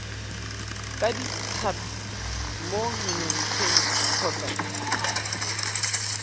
ka ditlhapi mo menontshetsong kgotsa